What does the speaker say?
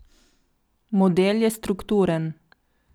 Model je strukturen.